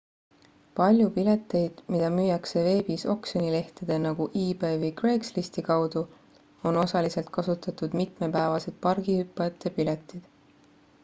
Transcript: palju pileteid mida müüakse veebis oksjonilehtede nagu ebay või craigslisti kaudu on osaliselt kasutatud mitmepäevased pargihüppajate piletid